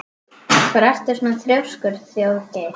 Af hverju ertu svona þrjóskur, Þjóðgeir?